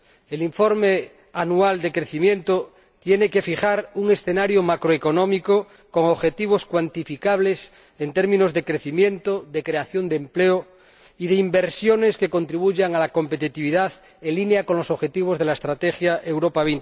El informe anual de crecimiento tiene que fijar un escenario macroeconómico con objetivos cuantificables en términos de crecimiento, de creación de empleo y de inversiones que contribuyan a la competitividad, en línea con los objetivos de la Estrategia Europa